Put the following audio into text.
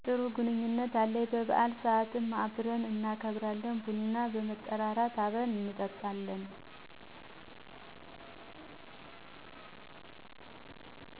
ጥሩ ግንኙነት አለኝ በበአል ስአት አብርን እናከብራለን። ቡና በመጠራራት አብርን እንጠጣለን።